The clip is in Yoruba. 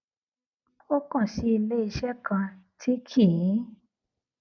ó kàn sí iléeṣé kan tí kì í